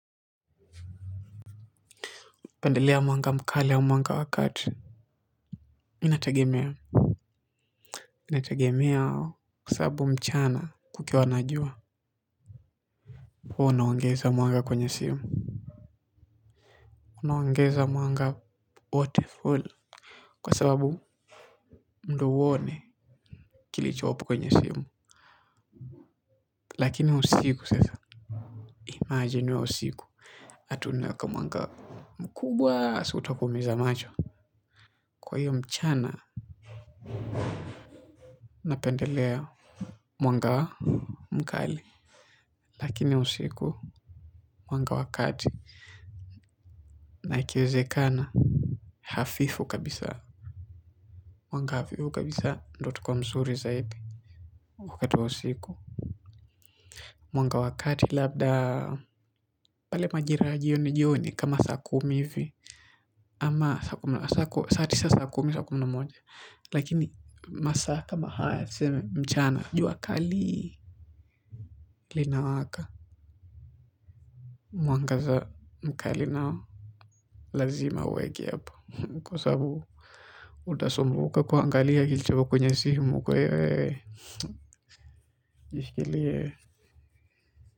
Napendelea mwanga mkali au mwanga wakati Inatagemea. Inatagemea kwa sababu mchana kukiwa na jua. Huwa unaongeza mwanga kwenye simu. Unaongeza mwanga wote full. Kwa sababu ndiyo uone kilichopo kwenye simu. Lakini usiku sasa imagine uwe usiku ati unaweka mwanga wa mkubwa si utakuumiza macho. Kwa hiyo mchana napendelea mwanga mkali. Lakini usiku mwanga wa kati na ikiwezekana hafifu kabisa mwanga hafifu kabisa ndiyo itakuwa mzuri zaidi wakati wa usiku mwanga wa kati labda pale majira ya jioni jioni kama saa kumi hivi. Ama saa kumi saa tisa saa kumi saa kumi na moja. Lakini masaa kama haya tuseme mchana. Jua kali linawaka mwangaza mkali nao lazima uweke hapo. Kwa sababu utasumbuka kuangalia kilicho kwenye simu kwa hiyo.